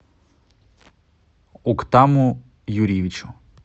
уктаму юрьевичу